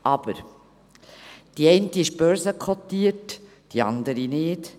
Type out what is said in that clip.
Aber die eine ist börsenkotiert, die andere nicht;